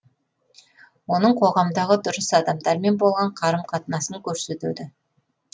оның қоғамдағы дұрыс адамдармен болған қарым қатынасын көрсетеді